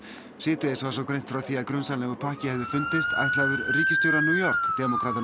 síðdegis var svo greint frá því að grunsamlegur pakki hefði fundist ætlaður ríkisstjóra New York